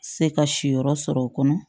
Se ka si yɔrɔ sɔrɔ o kɔnɔ